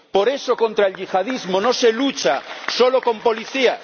Por eso, contra el yihadismo no se lucha solo con policías.